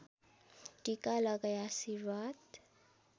टीका लगाई आशीर्वाद